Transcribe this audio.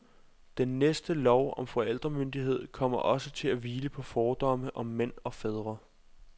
Den næste lov om forældremyndighed kommer også til at hvile på fordomme om mænd og fædre.